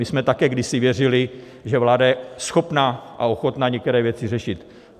My jsme také kdysi věřili, že vláda je schopna a ochotna některé věci řešit.